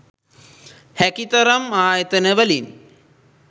හැකි තරම් ආයතන වලින්